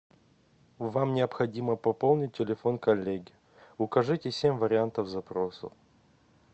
вам необходимо пополнить телефон коллеги укажите семь вариантов запроса